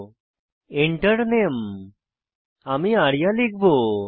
Enter Name আমি আরিয়া লিখব